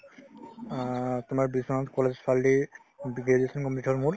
অ, তোমাৰ বিশ্বনাথ college ফালেদি graduation complete হ'ল মোৰ